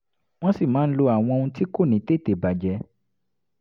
wọ́n sì máa ń lo àwọn ohun tí kò ní tètè bàjẹ́